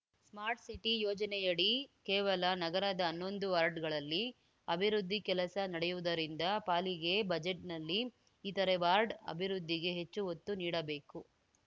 smart city ಯೋಜನೆಯಡಿ ಕೇವಲ ನಗರದ ಹನ್ನೊಂದು ವಾರ್ಡ್‌ಗಳಲ್ಲಿ ಅಭಿವೃದ್ಧಿ ಕೆಲಸ ನಡೆಯುವುದರಿಂದ ಪಾಲಿಕೆ ಬಜೆಟ್‌ನಲ್ಲಿ ಇತರೆ ವಾರ್ಡ್‌ ಅಭಿವೃದ್ಧಿಗೆ ಹೆಚ್ಚು ಒತ್ತು ನೀಡಬೇಕು